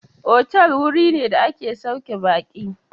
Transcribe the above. Otal wuri ne da ake sauke baƙi.